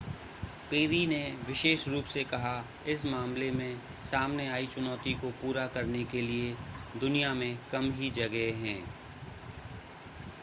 peri ने विशेष रूप से कहा इस मामले में सामने आई चुनौती को पूरा करने के लिए दुनिया में कम ही जगह हैं